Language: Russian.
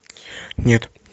нет